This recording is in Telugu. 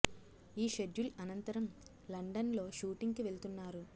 ఈ షెడ్యుల్ అనంతరం లండన్ లో షూటింగ్ కి వెళ్తున్నారు